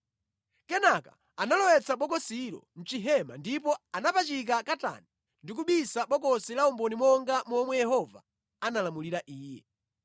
Kenaka analowetsa bokosilo mʼchihema ndipo anapachika katani ndi kubisa bokosi la umboni monga momwe Yehova analamulira iye.